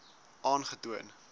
aangetoon